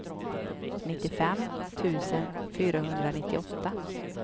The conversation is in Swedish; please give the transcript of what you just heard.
nittiofem tusen fyrahundranittioåtta